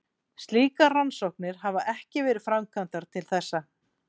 Slíkar rannsóknir hafa ekki verið framkvæmdar til þessa.